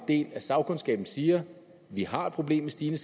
del af sagkundskaben siger at vi har et problem med stigende